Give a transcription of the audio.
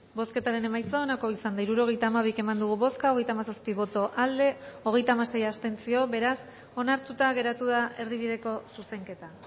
bozketaren emaitza onako izan da hirurogeita hamairu eman dugu bozka hogeita hamazazpi boto aldekoa hogeita hamasei abstentzio beraz onartuta geratu da erdibideko zuzenketa